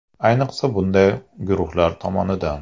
Ayniqsa bunday guruhlar tomonidan.